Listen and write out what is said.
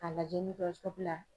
Ka lajɛ la.